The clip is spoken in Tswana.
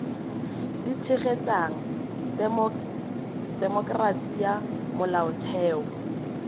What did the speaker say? di tshegetsang temokerasi ya molaotheo